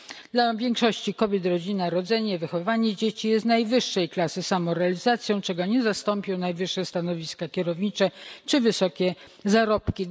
Dla większości kobiet rodzina, rodzenie, wychowywanie dzieci jest najwyższej klasy samorealizacją, czego nie zastąpią najwyższe stanowiska kierownicze czy wysokie zarobki.